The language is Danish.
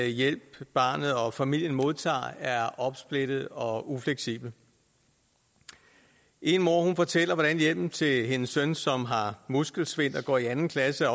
hjælp barnet og familien modtager er opsplittet og ufleksibel en mor fortæller hvordan hjælpen til hendes søn som har muskelsvind og går i anden klasse